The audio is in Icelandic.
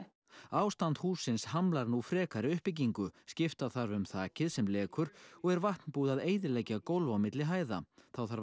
ástand hússins hamlar nú frekari uppbyggingu skipta þarf um þakið sem lekur og er vatn búið að eyðileggja gólf á milli hæða þá þarf að